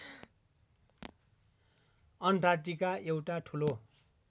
Antarctica एउटा ठूलो